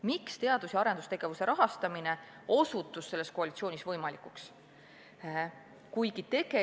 Miks teadus- ja arendustegevuse suurem rahastamine osutus selles koalitsioonis võimatuks?